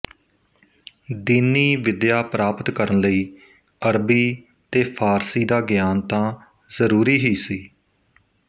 ਦੀਨੀ ਵਿੱਦਿਆ ਪ੍ਰਾਪਤ ਕਰਨ ਲਈ ਅਰਬੀ ਤੇ ਫ਼ਾਰਸੀ ਦਾ ਗਿਆਨ ਤਾਂ ਜਰੂਰੀ ਹੀ ਸੀ